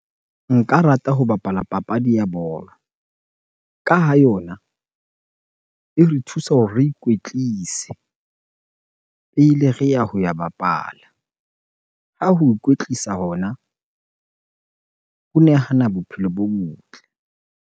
Nka rata ho bapala papadi ya bolo ka ha yona ere thusa hore re ikwetlise pele re ya ho ya bapala. Ha ho ikwetlisa hona, ho nehana bophelo bo botle.